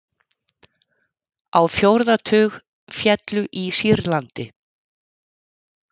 Á fjórða tug féllu í Sýrlandi